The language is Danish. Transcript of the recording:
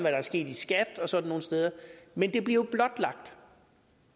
er sket i skat og sådan nogle steder men det bliver jo blotlagt